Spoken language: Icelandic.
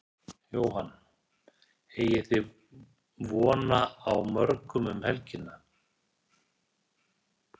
Jóhann: Eigið þið vona á mörgum um helgina?